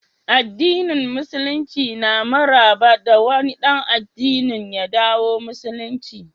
addinin musululinci na marhaba da wani dan addinin ya dawo musulunci